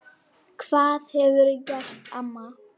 Hvað hefurðu gert amma?